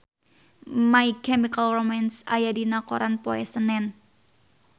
My Chemical Romance aya dina koran poe Senen